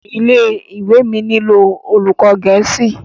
ilé-ìwé mí ni olùkó gèésì.